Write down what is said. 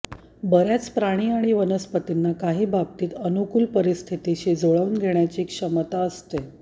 बर्याच प्राणी आणि वनस्पतींना काही बाबतीत अनुकूल परिस्थितीशी जुळवून घेण्याची क्षमता असते